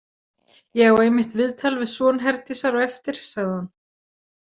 Ég á einmitt viðtal við son Herdísar á eftir, sagði hún.